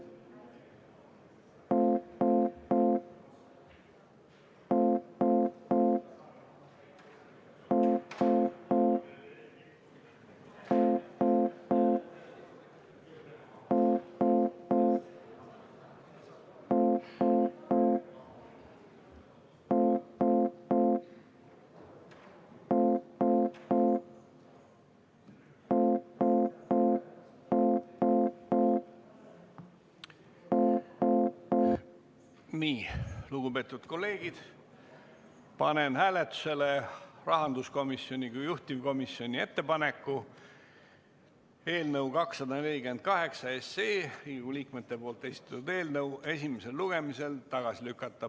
Lugupeetud kolleegid, panen hääletusele rahanduskomisjoni kui juhtivkomisjoni ettepaneku Riigikogu liikmete esitatud eelnõu 248 esimesel lugemisel tagasi lükata.